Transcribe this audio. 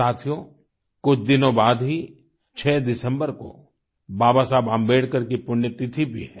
साथियो कुछ दिनों बाद ही 6 दिसम्बर को बाबा साहब अम्बेडकर की पुण्यतिथि भी है